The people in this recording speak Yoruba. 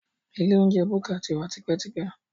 Ilé oúnjẹ búkà ti wà tipẹ́tipẹ́